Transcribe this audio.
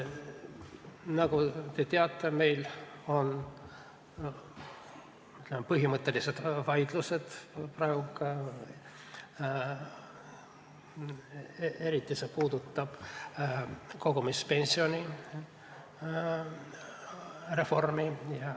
Nagu te teate, meil on praegu põhimõttelised vaidlused, eriti puudutab see kogumispensionireformi.